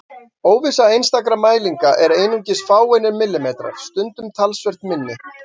Óvissa einstakra mælinga er einungis fáeinir millimetrar, stundum talsvert minni.